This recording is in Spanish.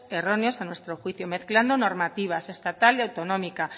erróneos a nuestro juicio mezclando normativas estatal y autonómica